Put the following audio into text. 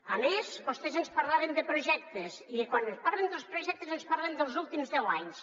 a més vostès ens parlaven de projectes i quan ens parlen dels pro·jectes ens parlen dels últims deu anys